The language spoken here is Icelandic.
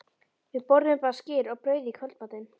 Við borðuðum bara skyr og brauð í kvöldmatinn.